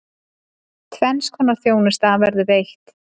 Tvenns konar þjónusta verður veitt.